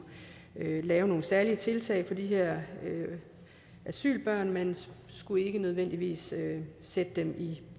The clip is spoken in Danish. lave nogle særlige tiltag for de her asylbørn man skulle ikke nødvendigvis sætte dem i